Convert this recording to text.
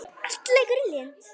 Allt leikur í lyndi.